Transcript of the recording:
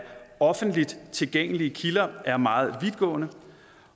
offentligt tilgængelige kilder er meget vidtgående